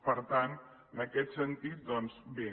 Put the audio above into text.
per tant en aquest sentit doncs bé